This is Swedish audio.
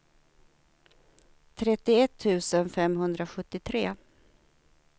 trettioett tusen femhundrasjuttiotre